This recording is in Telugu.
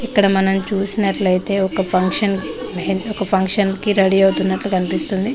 ఇక్కడ మనం చూసినట్లయితే ఒక ఫంక్షన్ ఒక ఫంక్షన్ కి రెడి అవుతున్నట్లు కనిపిస్తుంది.